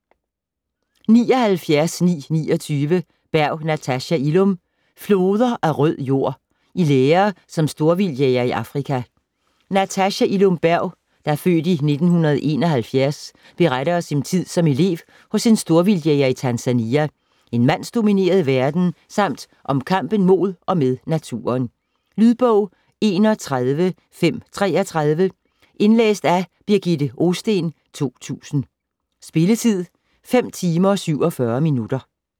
79.929 Berg, Natasha Illum: Floder af rød jord: i lære som storvildtjæger i Afrika Natasha Illum Berg (f. 1971) beretter om sin tid som elev hos en storvildtjæger i Tanzania, en mandsdomineret verden, samt om kampen mod og med naturen. Lydbog 31533 Indlæst af Birgitte Ohsten, 2000. Spilletid: 5 timer, 47 minutter.